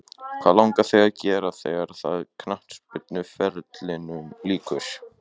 Hvað langar þig að gera þegar að knattspyrnuferlinum líkur?